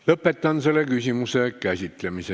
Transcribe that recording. Lõpetan selle küsimuse käsitlemise.